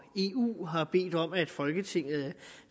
eu har bedt om at folketinget